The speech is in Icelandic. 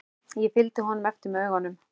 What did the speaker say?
Ég fylgdi honum eftir með augunum.